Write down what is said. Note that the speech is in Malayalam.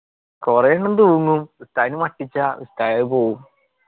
കൊറേ എണ്ണം തൂങ്ങും ഉസ്താദിന് മട്ടിച്ച ഉസ്താദ് പോവും.